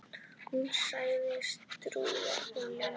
Hún segist trúa honum.